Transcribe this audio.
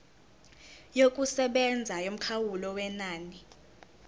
yokusebenza yomkhawulo wenani